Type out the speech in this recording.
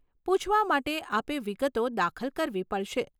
પૂછવા માટે આપે વિગતો દાખલ કરવી પડશે.